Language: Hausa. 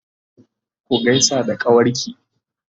ku gaisa da kawarki!